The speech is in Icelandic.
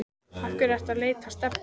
Af hverju ertu að leita að Stebba